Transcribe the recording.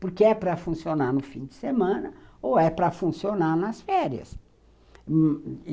Porque é para funcionar no fim de semana ou é para funcionar nas férias.